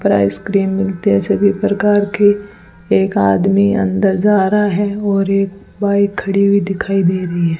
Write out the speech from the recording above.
पर आइसक्रीम मिलते हैं सभी प्रकार के एक आदमी अंदर जा रहा है और एक बाइक खड़ी हुई दिखाई दे रही है।